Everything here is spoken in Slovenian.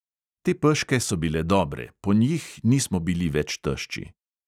Te peške so bile dobre, po njih nismo bili več tešči.